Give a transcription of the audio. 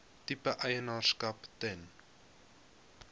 tipe eienaarskap ten